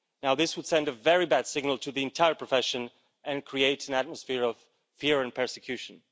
This would send a very bad signal to the entire profession and create an atmosphere of fear and persecution.